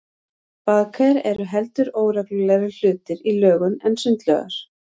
Baðker eru heldur óreglulegri hlutir í lögun en sundlaugar.